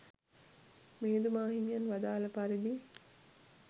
මිහිඳු මාහිමියන් වදාළ පරිදි